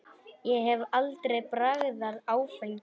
Ég hef aldrei bragðað áfengi.